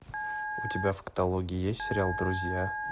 у тебя в каталоге есть сериал друзья